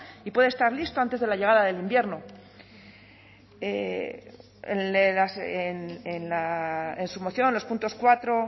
y pueda estar listo antes de la llegada del invierno en su moción los puntos cuatro